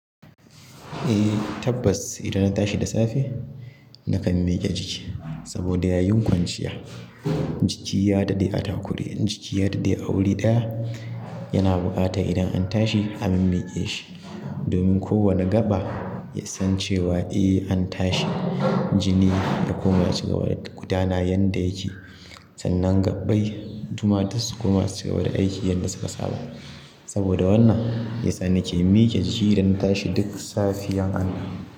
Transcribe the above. Eh tabbas idan na tashi da safe nakan mike jiki saboda yayin kwanciya jiki ya daɗe a takure jiki ya daɗe a wuri ɗaya yana buƙatan idan an tashi a mimmiƙe shi domin kowane gaɓa ya san cewa eh an tashi jini ya koma cigaba da gudana yanda yake sannan gaɓɓai suma duk sukona su cigaba da aiki yanda suka saba. Saboda wannan yasa nake mike jiki idan na tashi duk safiyan Allah.